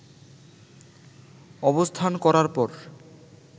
অবস্থান করার পর